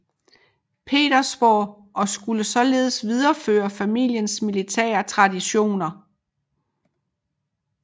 Petersborg og skulle således videreføre familiens militære traditioner